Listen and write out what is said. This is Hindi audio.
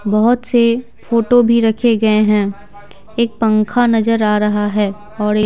बहुत से फोटो भी रखे गए हैं एक पंखा नजर आ रहा है और एक--